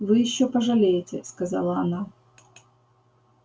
вы ещё пожалеете сказала она